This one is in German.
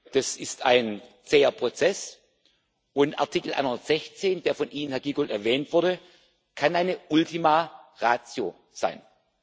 Das ist ein zäher Prozess, und Artikel 116, der von Ihnen, Herr Giegold, erwähnt wurde, kann eine Ultima Ratio sein.